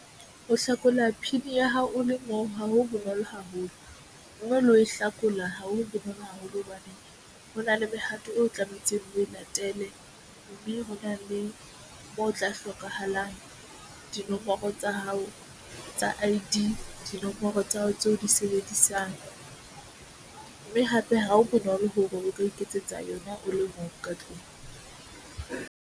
Ho hlakola P_I_N ya hao o le moo ha ho bonolo haholo moo le ho hlakola haholo. Ke bona haholo hobane ho na le mehato eo tlametseng ho e latele mme ho na le moo o tla hlokahalang. Dinomoro mme tsa hao tsa I_D dinomoro tsa hao tseo di sebedisang mme hape ha ho bonolo hore o ka iketsetsa yona o le mong ka tlung mme.